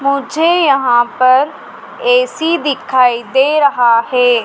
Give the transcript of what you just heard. मुझे यहां पर ए_सी दिखाई दे रहा है।